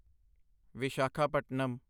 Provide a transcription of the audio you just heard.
Visakhapatnam